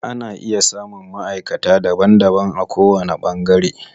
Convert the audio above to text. Ana iya samun maʼaikata daban daban a ko wani ɓangare.